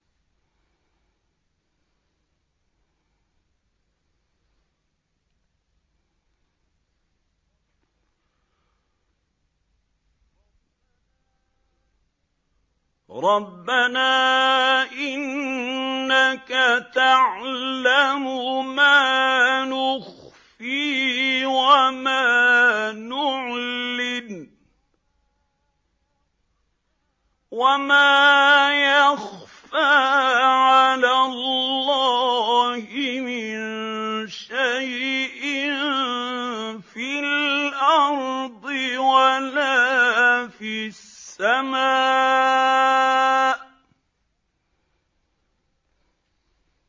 رَبَّنَا إِنَّكَ تَعْلَمُ مَا نُخْفِي وَمَا نُعْلِنُ ۗ وَمَا يَخْفَىٰ عَلَى اللَّهِ مِن شَيْءٍ فِي الْأَرْضِ وَلَا فِي السَّمَاءِ